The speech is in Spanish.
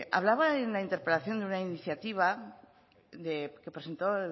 hablaba en la interpelación de una iniciativa que presentó